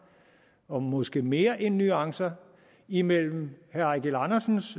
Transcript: og måske mere end nuancer imellem herre eigil andersens